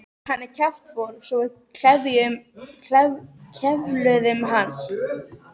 Hann er kjaftfor svo við kefluðum hann.